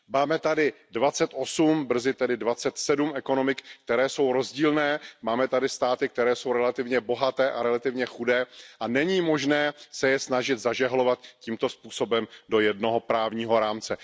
Máme tady dvacet osm, brzy tedy dvacet sedm ekonomik, které jsou rozdílné, máme tady státy, které jsou relativně bohaté a relativně chudé, a není možné se je snažit zažehlovat tímto způsobem do jednoho právního rámce.